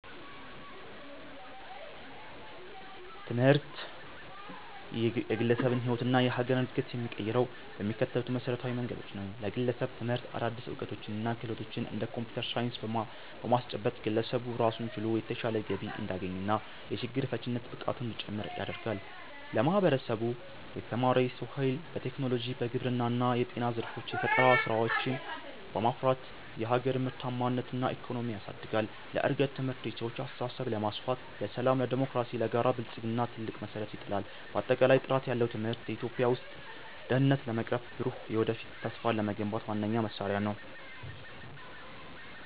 ትምህርት የግለሰብን ሕይወትና የሀገርን ዕድገት የሚቀይረው በሚከተሉት መሠረታዊ መንገዶች ነው፦ ለግለሰብ፦ ትምህርት አዳዲስ ዕውቀቶችንና ክህሎቶችን (እንደ ኮምፒውተር ሳይንስ) በማስጨበጥ፣ ግለሰቡ ራሱን ችሎ የተሻለ ገቢ እንዲያገኝና የችግር ፈቺነት ብቃቱ እንዲጨምር ያደርጋል። ለማህበረሰብ፦ የተማረ የሰው ኃይል በቴክኖሎጂ፣ በግብርና እና በጤና ዘርፎች የፈጠራ ስራዎችን በማፍራት የሀገርን ምርታማነትና ኢኮኖሚ ያሳድጋል። ለእድገት፦ ትምህርት የሰዎችን አስተሳሰብ በማስፋት፣ ለሰላም፣ ለዴሞክራሲና ለጋራ ብልጽግና ትልቅ መሠረት ይጥላል። ባጠቃላይ፣ ጥራት ያለው ትምህርት በኢትዮጵያ ውስጥ ድህነትን ለመቅረፍና ብሩህ የወደፊት ተስፋን ለመገንባት ዋነኛው መሳሪያ ነው።